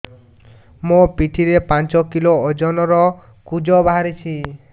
ମୋ ପିଠି ରେ ପାଞ୍ଚ କିଲୋ ଓଜନ ର କୁଜ ବାହାରିଛି